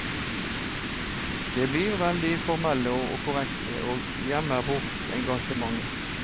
De blir veldig formelle og korrekte, og gjemmer bort engasjementet.